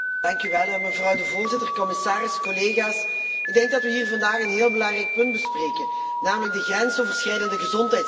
Mevrouw de voorzitter, commissaris, collega's, ik denk dat we hier vandaag een heel belangrijk punt bespreken, namelijk de grensoverschrijdende gezondheidszorg.